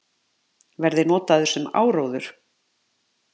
Verði notaðar sem áróður